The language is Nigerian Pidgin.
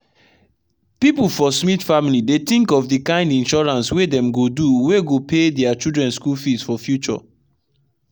people for smith family dey think of the kind insurance wey dem go dowey go pay their children school fees for future.